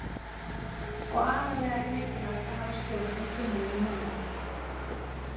Og aðallega er mikilvægt að hafa stjórn á kynlífi manna.